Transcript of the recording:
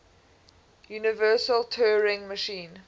universal turing machine